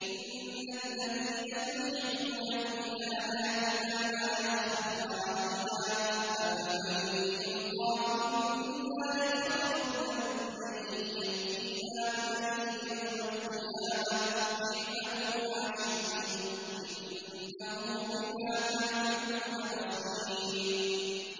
إِنَّ الَّذِينَ يُلْحِدُونَ فِي آيَاتِنَا لَا يَخْفَوْنَ عَلَيْنَا ۗ أَفَمَن يُلْقَىٰ فِي النَّارِ خَيْرٌ أَم مَّن يَأْتِي آمِنًا يَوْمَ الْقِيَامَةِ ۚ اعْمَلُوا مَا شِئْتُمْ ۖ إِنَّهُ بِمَا تَعْمَلُونَ بَصِيرٌ